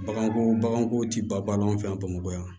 Baganko baganko ti ban an fɛ yan bamakɔ yan